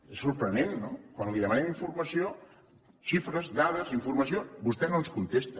és sorprenent no quan li demanem informació xifres dades informació vostè no ens contesta